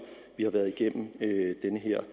vi har været igennem den her